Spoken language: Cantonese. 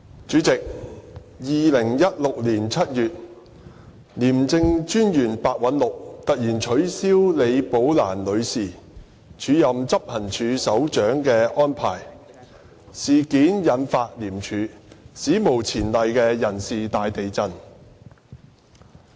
主席 ，2016 年7月，廉政專員白韞六突然取消李寶蘭女士署任執行處首長的安排，事件引發廉署史無前例的人事大地震。